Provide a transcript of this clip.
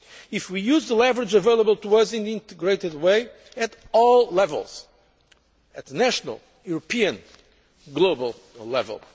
if we use the leverage available to us in an integrated way at all levels at national, European and global